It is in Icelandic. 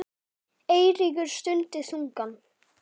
Eiríkur stundi þungan.